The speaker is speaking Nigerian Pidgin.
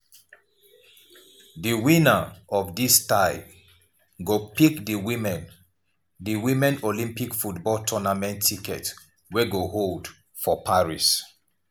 di winner of dis tie go pick di women di women olympic football tournament ticket wey go hold for paris.